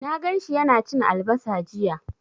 Na gan shi yana cin albasa jiya.